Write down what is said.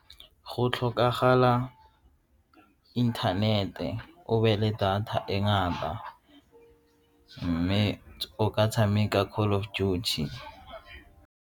Go tlhokagala inthanete, o be le data e ngata mme o ka tshameka Call of Duty.